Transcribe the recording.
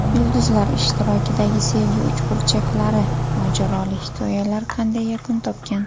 Yulduzlar ishtirokidagi sevgi uchburchaklari: Mojaroli hikoyalar qanday yakun topgan?.